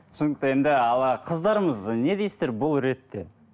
түсінікті енді ал қыздарымыз не дейсіздер бұл ретте